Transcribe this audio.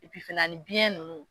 E pi fɛnɛ a ni biyɛn nunnu